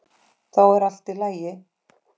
Þá er allt í lagi.